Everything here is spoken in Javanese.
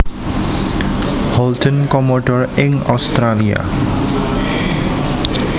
Holden Commodore ing Australia